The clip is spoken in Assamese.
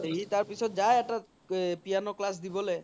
সি তাৰ পিছত যাই এটা এ piano দিবলে